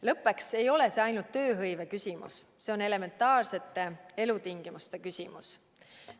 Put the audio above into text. Lõppeks ei ole see ainult tööhõive küsimus, see on elementaarsete elutingimuste küsimus.